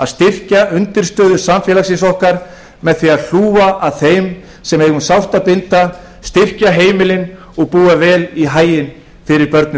að styrkja undirstöður samfélagsins okkar með því að hlúa að þeim sem eiga um sárt að binda styrkja fjölskylduna og búa vel í haginn fyrir börnin